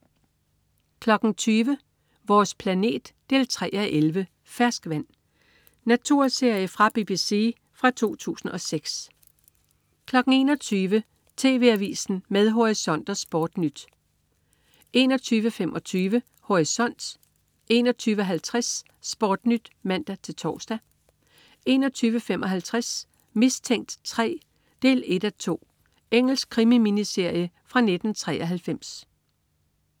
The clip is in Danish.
20.00 Vores planet 3:11. "Ferskvand". Naturserie fra BBC fra 2006 21.00 TV AVISEN med Horisont og SportNyt 21.00 TV Avisen (man-fre) 21.25 Horisont 21.50 SportNyt (man-tors) 21.55 Mistænkt 3, 1:2. Engelsk krimi-miniserie fra 1993